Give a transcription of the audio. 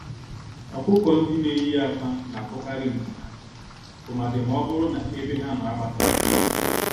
Ọkụkọ-ndị-neyi-ákwà natụkarị nku ha, tụmadi mọbụrụ na ebe ha nọ agbasaghị agbasa